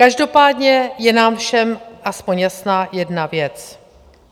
Každopádně je nám všem aspoň jasná jedna věc.